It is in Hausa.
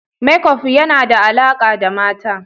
Makeup yana da alaƙa da mata.